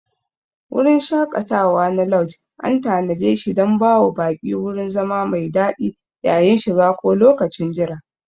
Wurin shaƙatawa na lauj an tanadeshi dan bawa baƙi wurin zama mai daɗi yayin shiga ko lokacin jira.